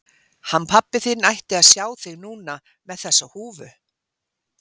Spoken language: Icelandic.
Hann pabbi þinn ætti að sjá þig núna með þessa húfu.